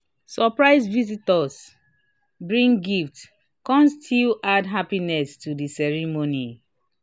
surprise visitors bring gifts kan still add happiness to the ceremony